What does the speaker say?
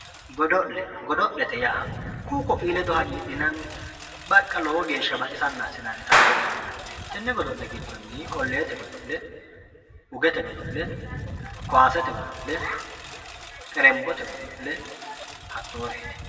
godo'le godo'lete yaa ku"u ko"ii ledo hagiidhinanni baqqa lowo geeshsha baxisanna assinannita godo'lete yinanni tenne godo'le gidonii qoleete godo'le, ugete godo'le, koyaasete godo'le, xerenbote godo'le hattooreeti.